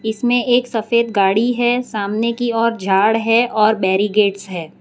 इसमें एक सफेद गाड़ी है सामने की ओर झाड़ है और बैरिकेड्स है।